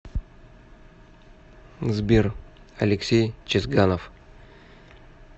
сбер алексей чезганов